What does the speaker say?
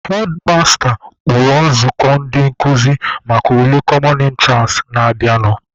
Hedmasta kpọrọ nzukọ ndị nkụzi maka ule "common entrance" na-abịanụ.